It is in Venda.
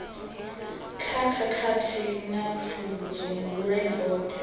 kha khakhathi na pfudzungule dzoṱhe